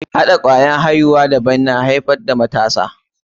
Hɗa kwayar aihuwa daban na shuka ko daba shi ke haifar da matasa.